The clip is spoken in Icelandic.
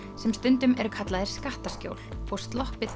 sem stundum eru kallaðir skattaskjól og sloppið